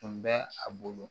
Tun bɛ a bolo